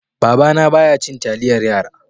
Babana baya cin taliyar yara.